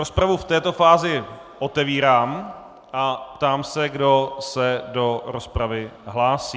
Rozpravu v této fázi otevírám a ptám se, kdo se do rozpravy hlásí.